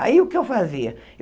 Aí, o que eu fazia?